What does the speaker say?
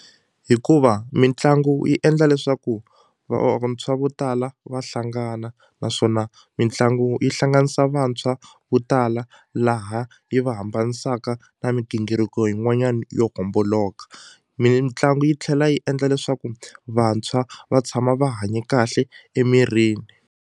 Hikuva mitlangu yi endla leswaku vo tala va hlangana naswona mitlangu yi hlanganisa vantshwa vo tala laha yi va hambanisaka na migingiriko yin'wanyana yo homboloka mitlangu yi tlhela yi endla leswaku vantshwa va tshama va hanye kahle emirini.